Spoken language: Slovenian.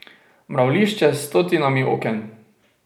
Mravljišče s stotinami oken.